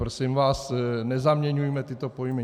Prosím vás, nezaměňujme tyto pojmy.